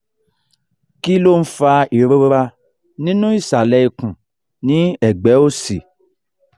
kí ló ń fa ìrora nínú isale ikun ni egbe òsì?